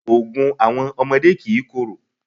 Ògùn àwọn ọmọdé kìí korò.